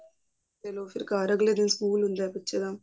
ਮੰਨਲਓ ਕੇ age ਦਿਨ ਫ਼ੇਰ ਸਕੂਲ ਹੁੰਦਾ ਬੱਚੇ ਦਾ